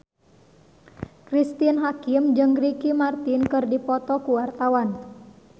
Cristine Hakim jeung Ricky Martin keur dipoto ku wartawan